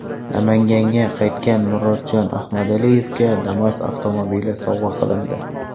Namanganga qaytgan Murodjon Ahmadaliyevga Damas avtomobili sovg‘a qilindi .